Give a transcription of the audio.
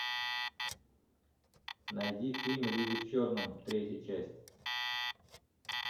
найди фильм люди в черном третья часть